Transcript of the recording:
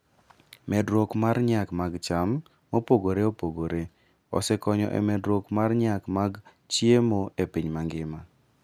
Medruok mar nyak mag cham mopogore opogore osekonyo e medruok mar nyak mag chiemo e piny mangima.